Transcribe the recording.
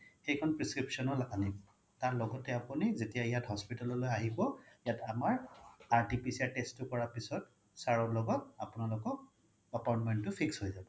সেইখন prescription ও আনিব তাৰ লগতে আপোনি যেতিয়া ইয়াত hospital লৈ আহিব ইয়াত আমাৰ RTPCR test তো কৰা পিছত sir লগত আপোনালোকক appointment তো fix হৈ যাব